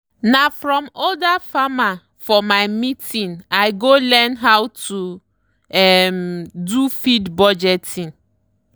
na from older farmerfor my meeting i go learn how to um do feed budgeting.